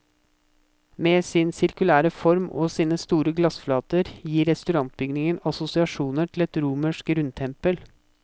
Med sin sirkulære form og sine store glassflater gir restaurantbygningen assosiasjoner til et romersk rundtempel.